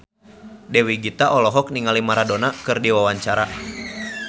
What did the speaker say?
Dewi Gita olohok ningali Maradona keur diwawancara